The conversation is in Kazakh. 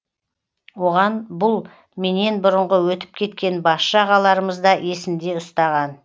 оған бұл менен бұрынғы өтіп кеткен басшы ағаларымыз да есінде ұстаған